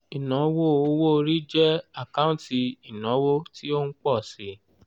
ìnáwó owó-orí jẹ́ àkáǹtì ìnáwó tí ó ń pọ̀ síi